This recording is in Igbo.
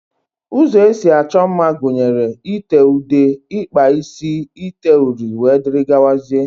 Ụzọ esi achọ mma gụnyere: ite ude, ịkpa isi, ite uri wdg.